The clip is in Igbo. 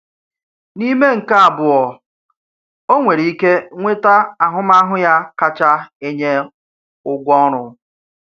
N'ime nkè abụọ, ọ nwèrè ike nweta ahụmahụ ya kacha enye ụgwọ ọrụ.